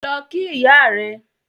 Lọ kí ìyá rẹ!